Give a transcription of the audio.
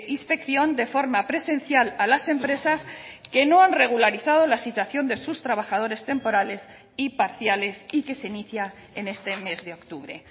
inspección de forma presencial a las empresas que no han regularizado la situación de sus trabajadores temporales y parciales y que se inicia en este mes de octubre